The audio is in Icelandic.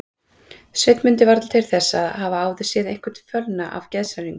Sveinn mundi varla til þess að hafa áður séð einhvern fölna af geðshræringu.